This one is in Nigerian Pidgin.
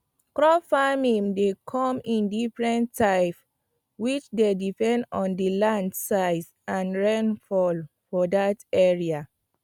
crop farming dey come in diffrent types which dey depend on the land size and rainfall for that area